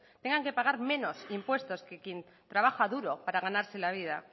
tengan que pagar menos impuestos que quien trabajo duro para ganarse la vida